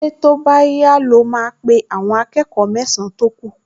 Ṣé tó bá yá ló máa pe àwọn akẹ́kọ̀ọ mẹ́san-án tó kù?